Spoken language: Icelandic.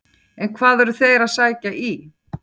En hvað eru þeir að sækja í?